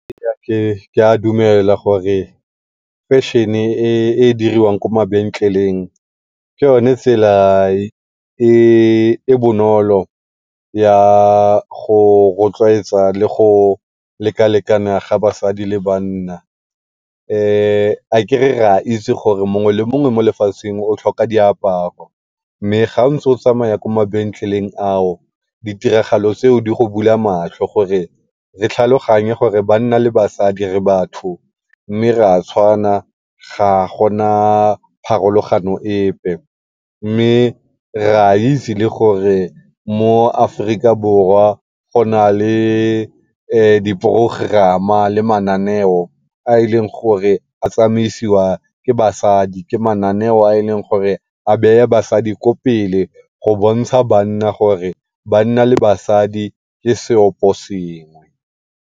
Ke a dumela gore fashion-e e e diriwang ko mabenkeleng ke yone tsela e e bonolo ya go rotloetsa le go lekalekana ga basadi le banna. Aker re a itse gore mongwe le mongwe mo lefatsheng o tlhoka diaparo, mme ga ntse o tsamaya ko mabenkeleng ao ditiragalo tseo di go bula matlho gore le tlhaloganye gore banna le basadi re batho mme re a tshwana ga go na pharologano epe. Mme re a itse le gore mo Aforika Borwa go na le diporogerama le mananeo a e leng gore a tsamaisiwa ke basadi. Ke mananeo a e leng gore a bea basadi ko pele go bontsha banna gore banna le basadi ke seopo sengwe.